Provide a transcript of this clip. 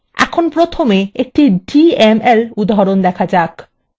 এখন প্রথমে একটি dml উদাহরণ দেখা যাক